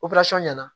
ɲɛna